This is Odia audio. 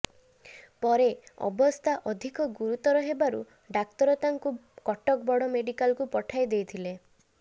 ପରେ ଅବସ୍ଥା ଅଧିକ ଗୁରୁତର ହେବାରୁ ଡାକ୍ତର ତାଙ୍କୁ କଟକ ବଡ ମେଡିକାଲକୁ ପଠାଇ ଦେଇଥିଲେ